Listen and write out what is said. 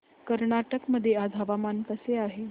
कर्नाटक मध्ये आज हवामान कसे आहे